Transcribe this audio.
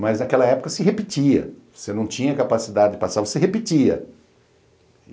Mas naquela época se repetia, você não tinha capacidade de passar, você repetia.